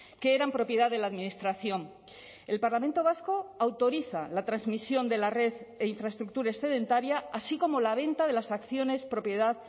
que eran propiedad de la administración el parlamento vasco autoriza la transmisión de la red e infraestructura excedentaria así como la venta de las acciones propiedad